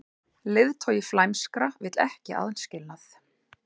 Leiðtogi flæmskra vill ekki aðskilnað